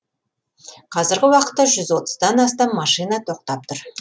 қазіргі уақытта жүз отыздан астам машина тоқтап тұр